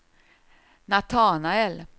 Natanael